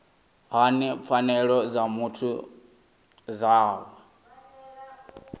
hani pfanelo dza muthu dza